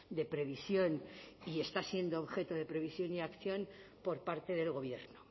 de previsión y está siendo objeto de previsión y acción por parte del gobierno